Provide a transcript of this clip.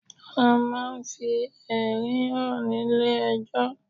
A ma ń fi ẹ̀rí hàn nílé ejọ́.